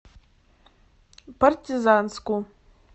партизанску